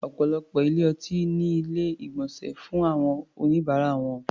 Ọ̀pọ̀lọpọ̀ ilé-ọtí ní Ilé-ìgbọ̀nsẹ̀ fún àwọn oníbàárà wọn